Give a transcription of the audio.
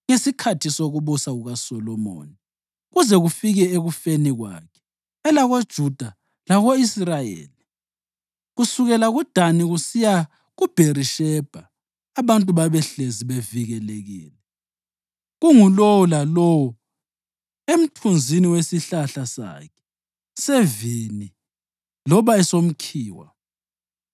Ngesikhathi sokubusa kukaSolomoni kuze kufike ekufeni kwakhe elakoJuda lako-Israyeli, kusukela kuDani kusiya kuBherishebha, abantu babehlezi bevikelekile, kungulowo lalowo emthunzini wesihlahla sakhe sevini loba esomkhiwa.